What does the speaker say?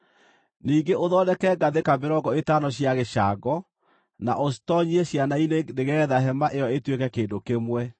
Ningĩ ũthondeke ngathĩka mĩrongo ĩtano cia gĩcango, na ũcitoonyie ciana-inĩ nĩgeetha hema ĩyo ĩtuĩke kĩndũ kĩmwe.